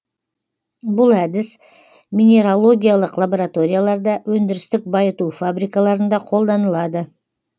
бұл әдіс минералогиялық лабораторияларда өндірістік байыту фабрикаларында қолданылады